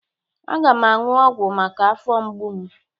Aga m aṅụ ọgwụ maka afọ mgbu m.